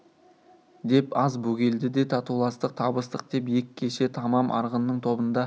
деп аз бөгелді де татуластық табыстық деп ек кеше тамам арғынның тобында